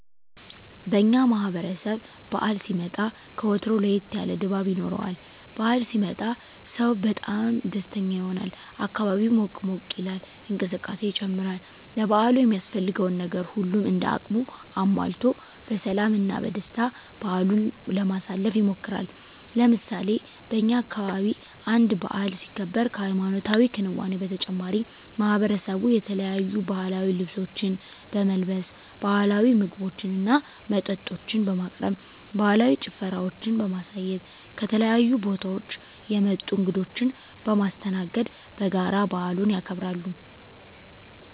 በእኛ ማህበረሰብ በዓል ሲመጣ ከወትሮው ለየት ያለ ድባብ ይኖረዋል። በዓል ሲመጣ ሰው በጣም ደስተኛ ይሆናል፣ አካባቢው ሞቅ ሞቅ ይላል፣ እንቅስቃሴ ይጨምራል፣ ለበዓሉ የሚያስፈልገውን ነገር ሁሉም እንደ አቅሙ አሟልቶ በሰላም እና በደስታ በዓሉን ለማሳለፍ ይሞክራል። ለምሳሌ በእኛ አካባቢ አንድ በዓል ሲከበር ከሀይማኖታዊ ክንዋኔው በተጨማሪ ማሕበረሰቡ የተለያዩ ባህላዊ ልብሶችን በመልበስ፣ ባህላዊ ምግቦችና መጠጦችን በማቅረብ፣ ባህላዊ ጭፈራዎችን በማሳየት፣ ከተለያዩ ቦታወች የመጡ እንግዶችን በማስተናገድ በጋራ በዓሉን ያከብራሉ።